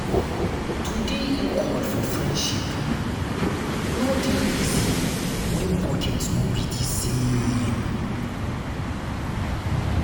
to dey equal for friendship no dey easy wen pocket no be di same.